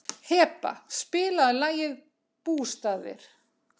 Heba, spilaðu lagið „Bústaðir“.